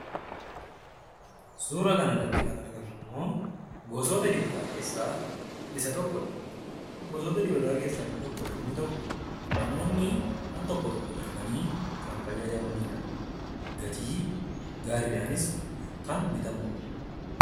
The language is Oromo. Suuraa kanarratti kan argamu immoo gosoota dibataa keessaa isa tokko dha. Gosoota dibataa keessaa isa tokko yommuu ta'u, namoonni al-tokko tokko darbanii kan fayyadamaniidha. Gatii gaariidhaanis kan bitamuudha.